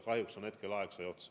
Kahjuks on mu aeg nüüd otsas.